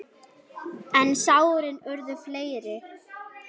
En sárin urðu fleiri.